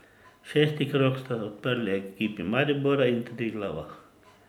Šesti krog sta odprli ekipi Maribora in Triglava.